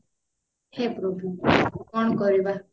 ହେ ପ୍ରଭୁ କଣ କରିବା